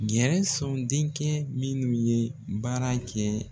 Gɛnson denkɛ minnu ye baara kɛ